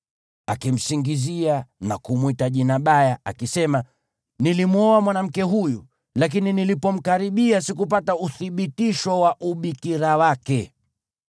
akimsingizia na kumwita jina baya, akisema, “Nilimwoa mwanamke huyu, lakini nilipomkaribia sikupata uthibitisho wa ubikira wake”